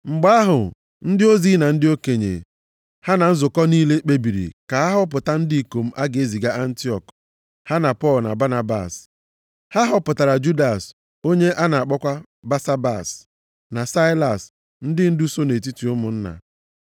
Mgbe ahụ, ndị ozi na ndị okenye, ha na nzukọ niile, kpebiri ka a họpụta ndị ikom a ga-eziga Antiọk ha na Pọl na Banabas. Ha họpụtara Judas onye a na-akpọkwa Basabas, na Saịlas, ndị ndu so nʼetiti ụmụnna.